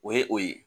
O ye o ye